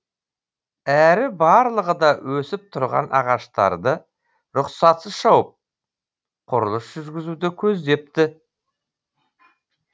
әрі барлығы да өсіп тұрған ағаштарды рұқсатсыз шауып құрылыс жүргізуді көздепті